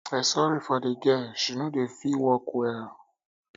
i sorry for the girl she no dey fit walk well